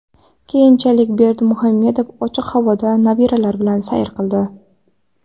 Keyinchalik Berdimuhamedov ochiq havoda nabiralari bilan sayr qildi.